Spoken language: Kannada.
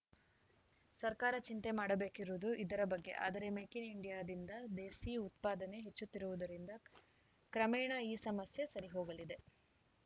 ಸರ್ಕಾರ ಚಿಂತೆ ಮಾಡಬೇಕಿರುವುದು ಇದರ ಬಗ್ಗೆ ಆದರೆ ಮೇಕ್‌ ಇನ್‌ ಇಂಡಿಯಾದಿಂದ ದೇಸಿ ಉತ್ಪಾದನೆ ಹೆಚ್ಚುತ್ತಿರುವುದರಿಂದ ಕ್ರಮೇಣ ಈ ಸಮಸ್ಯೆ ಸರಿಹೋಗಲಿದೆ